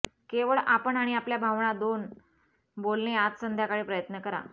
केवळ आपण आणि आपल्या भावना दोन बोलणे आज संध्याकाळी प्रयत्न करा